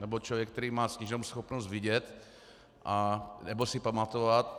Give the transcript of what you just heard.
Nebo člověk, který má sníženou schopnost vidět nebo si pamatovat.